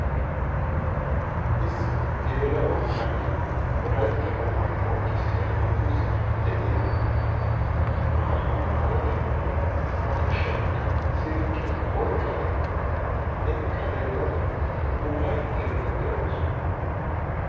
Issi geelaa"o na'iyaa wolaytta wogaa qonccissiya dungguzaaara de'iyaa maayuwa maayada ba kushiyaankka silkkiya oyqqada eqqa denddada ufayttaydda de'awusu.